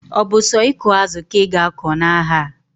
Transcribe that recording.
Obu so iku azu ka iga ako na aha?